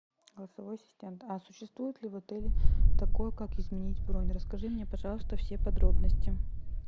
голосовой ассистент а существует ли в отеле такое как изменить бронь расскажи мне пожалуйста все подробности